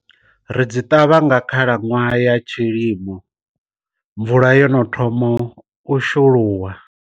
Ri dzi ṱavha nga khalaṅwaha ya tshilimo mvula yono ṱhomo u shulula.